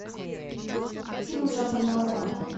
фильм в жанре мелодрама